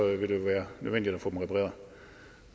vil det jo være nødvendigt at få dem repareret